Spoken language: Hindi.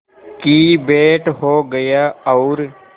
की भेंट हो गया और